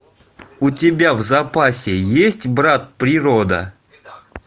у тебя в запасе есть брат природа